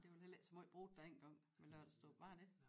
Nej det var vel heller ikke så måj i brug dengang med lørdagsdåb var det det